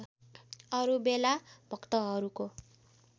अरू बेला भक्तहरूको